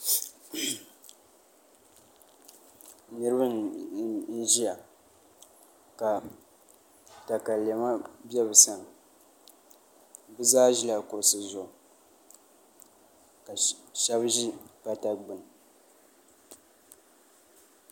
Niraba n ʒiya ka katalɛma bɛ bi sani bi zaa ʒila kuɣusi zuɣu ka shab ʒi pata gbuni